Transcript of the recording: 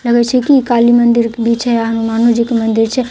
लगै छे की काली मंदिर के पीछे हनुमानो जी के मंदिर छे। एके गो जगह--